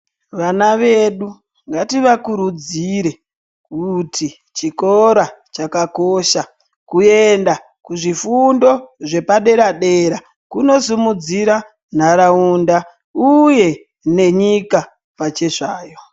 Vana vedu ngativakurudzire kuti chikora chakakosha. Kuenda kuzvifundo zvepadera-dera kunosimudzira nharaunda uye nenyika pachezvayo.